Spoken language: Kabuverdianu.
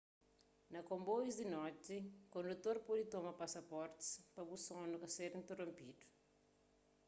na konboius di noti kondutor pode toma pasaportis pa bu sonu ka ser interonpidu